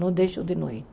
Não deixo de não ir.